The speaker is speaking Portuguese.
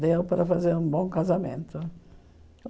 Deu para fazer um bom casamento.